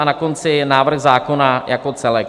A na konci návrh zákona jako celek.